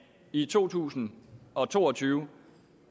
i to tusind og to og tyve